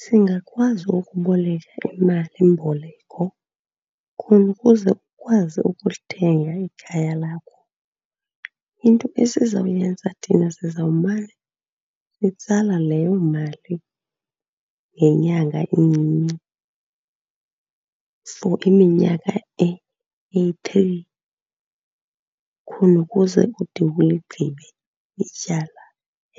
Singakwazi ukuboleka imalimboleko khona ukuze ukwazi ukulithenga ikhaya lakho. Into esizawuyenza thina sizawumana sitsala leyo mali ngenyanga incinci for iminyaka eyi-three khona ukuze ude uligqibe ityala